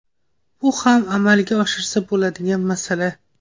Bu ham amalga oshirsa bo‘ladigan masala.